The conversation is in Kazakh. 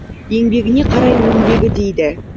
еңбегіне қарай өнбегі дейді